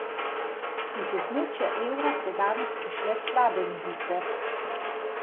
Iz območja evra so danes prišle slabe novice.